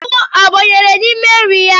Ahụhụ ọ banyere n’ime nri ya?